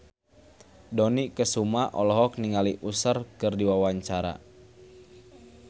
Dony Kesuma olohok ningali Usher keur diwawancara